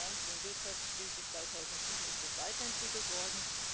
Nach der Finanz und Wirtschaftskrise 2007 ist das weiterentwickelt worden.